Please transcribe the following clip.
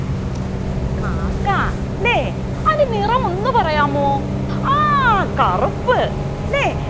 കാക്ക അല്ലെ അതിൻ്റെ നിറം ഒന്ന് പറയാമോ ആ കറുപ്പ് അല്ലെ